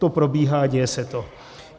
To probíhá a děje se to.